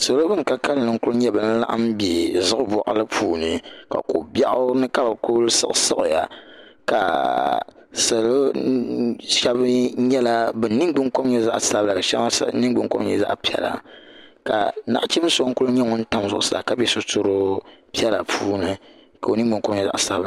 salo bin ka kanli n ku nyɛ ban laɣam bɛ zuɣu boɣali puubi ka ko biɛɣu ni ka bi ku siɣisiɣiya ka salo shab mii bi ningbuni kom nyɛ zaɣ sabila ka shab din nyɛ zaɣ piɛla ka nachin so ku nyɛ ŋun tam zuɣusaa ka bɛ sitiri piɛla puuni ka o ningbuni kom nyɛ zaɣ sabila